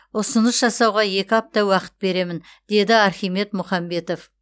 ұсыныс жасауға екі апта уақыт беремін деді архимед мұхамбетов